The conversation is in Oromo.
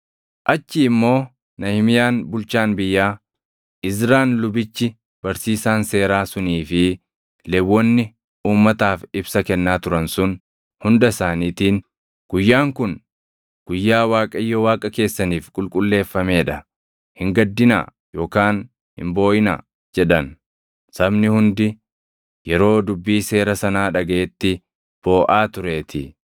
Achii immoo Nahimiyaan bulchaan biyyaa, Izraan lubichi barsiisaan seeraa sunii fi Lewwonni uummataaf ibsa kennaa turan sun hunda isaaniitiin, “Guyyaan kun guyyaa Waaqayyo Waaqa keessaniif qulqulleeffamee dha. Hin gaddinaa yookaan hin booʼinaa” jedhan. Sabni hundi yeroo dubbii seera sanaa dhagaʼetti booʼaa tureetii.